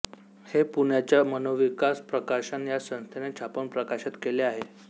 हे पुण्याच्या मनोविकास प्रकाशन या संस्थेने छापून प्रकाशित केले आहे